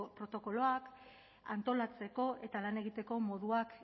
protokoloak antolatzeko eta lan egiteko moduak